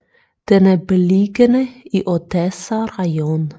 Den er beliggende i Odessa rajon